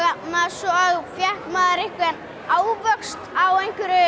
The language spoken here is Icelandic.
svo fékk maður ávöxt á